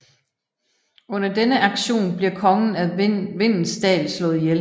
Under denne aktion bliver kongen af Vindens Dal slået ihjel